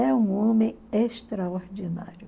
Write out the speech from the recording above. É um homem extraordinário.